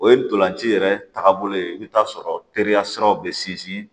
O ye ntolanci yɛrɛ taagabolo ye i bɛ taa sɔrɔ teriya siraw bɛ sinsin